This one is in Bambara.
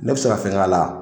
Ne bɛ se fɛn k'a la